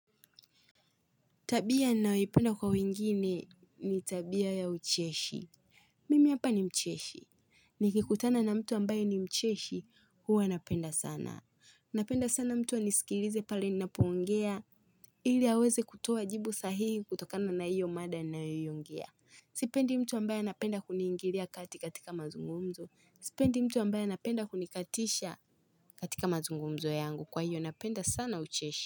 Tabia ninayoipenda kwa wengine ni tabia ya ucheshi Mimi hapa ni mcheshi Nikikutana na mtu ambayo ni mcheshi huwa napenda sana Napenda sana mtu anisikilize pale ninapoongea ili aweze kutuoa jibu sahihi kutokana na hiyo mada ninayoongea Sipendi mtu ambaye anapenda kuniingilia kati katika mazungumzo Sipendi mtu ambaye napenda kunikatisha katika mazungumzo yangu kwa hiyo napenda sana ucheshi.